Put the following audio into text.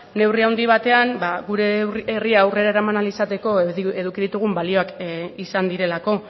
neurri handi batean gure herria aurrera eraman ahal izateko eduki ditugun balioak izan direlako